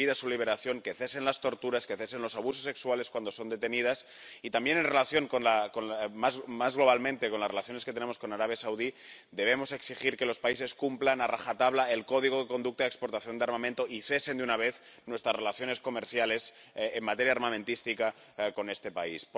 Que se pida su liberación, que cesen las torturas, que cesen los abusos sexuales cuando son detenidas y también, más globalmente, en relación con las relaciones que tenemos con Arabia Saudí, debemos exigir que los países cumplan a rajatabla el código de conducta de exportación de armamento y que cesen de una vez nuestras relaciones comerciales en materia armamentística con este país.